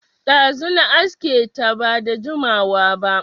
Ɗazu na aske ta, ba da jimawa ba